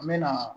N mɛna